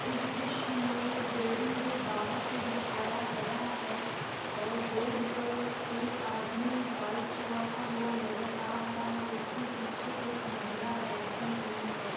इस दृश्य मे बिल्डिंग को बाहर से दिखाया गया है और रोड पर एक आदमी बाइक चलाता हुआ नजर आ रहा है उसके पीछे एक महिला बैठी हुई है।